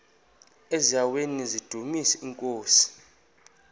eziaweni nizidumis iinkosi